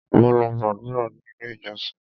Mo lọ gbàdúrà ní ilé ìjọsìn.